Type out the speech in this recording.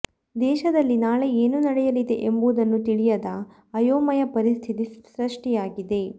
ದೇಶದಲ್ಲಿ ನಾಳೆ ಏನು ನಡೆಯಲಿದೆ ಎಂಬುದನ್ನು ತಿಳಿಯದ ಆಯೋಮಯ ಪರಿಸ್ಥಿತಿ ಸೃಷ್ಟಿಯಾಗಿದೆ